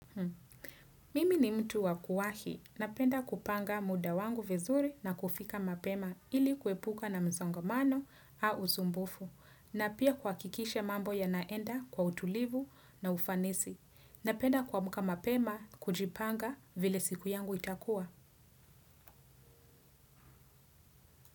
Mimi ni mtu wakuwahi na penda kupanga muda wangu vizuri na kufika mapema ili kuepuka na misongamano au usumbufu na pia kuhakikisha mambo yanaenda kwa utulivu na ufanisi na penda kuamka mapema kujipanga vile siku yangu itakuwa.